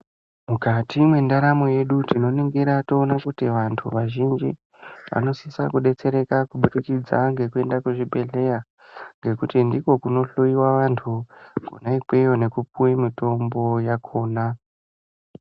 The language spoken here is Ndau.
Mukati mwendaramu yedu tinoningira toona kuti vanhu vazhinji vanosisa kudetsereka kubudikidza ngekuende kuchibhehleya ngekuti ndiko kunohloiwa vantu konaikweyo nekupuwe mitombo yakona.